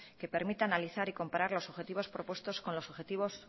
que permitan analizar y comparar los objetivos propuestos con los objetivos